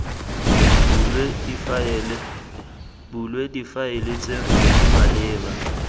bulwe difaele tse di maleba